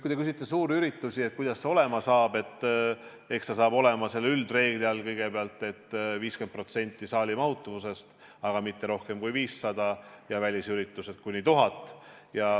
Kui te küsite suurürituste kohta, et kuidas see olema saab, siis eks see saab olema selle üldreegli all kõigepealt, et 50% saali mahutavusest, aga mitte rohkem kui 500 inimest, välisüritustel kuni 1000.